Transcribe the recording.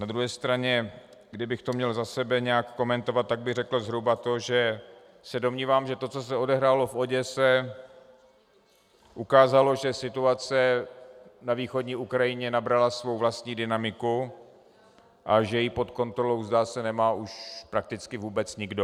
Na druhé straně, kdybych to měl za sebe nějak komentovat, tak bych řekl zhruba to, že se domnívám, že to, co se odehrálo v Oděse, ukázalo, že situace na východní Ukrajině nabrala svou vlastní dynamiku a že ji pod kontrolou, zdá se, nemá už prakticky vůbec nikdo.